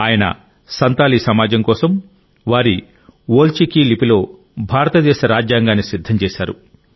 ఆయన సంతాలీ సమాజం కోసం వారి ఓల్ చికి లిపిలో భారతదేశ రాజ్యాంగాన్ని సిద్ధం చేశారు